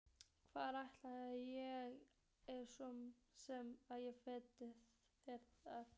Hvar ætti ég svo sem að fela það?